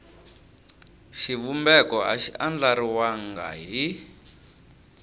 xivumbeko a xi andlariwangi hi